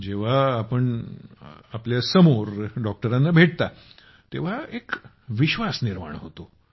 जेव्हा आपण आपल्यासमोर डॉक्टरांना भेटतात तेव्हा एक विश्वास निर्माण होतो